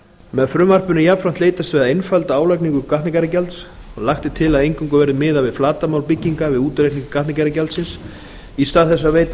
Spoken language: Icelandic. með frumvarpinu er jafnframt leitast við að einfalda álagningu gatnagerðargjalds lagt er til að eingöngu verði miðað við flatarmál bygginga við útreikning gatnagerðargjaldsins í stað þess að veita